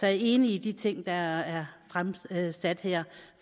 er enig i de ting der er fremsat her